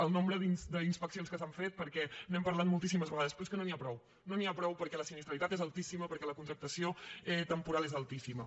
el nombre d’inspeccions que s’han fet perquè n’hem parlat moltíssimes vegades però és que no n’hi ha prou no n’hi ha prou perquè la sinistralitat és altíssima perquè la contractació temporal és altíssima